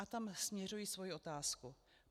A tam směřuji svoji otázku.